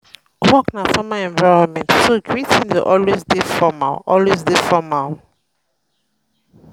work na um formal environment so greeting dey always dey formal always dey formal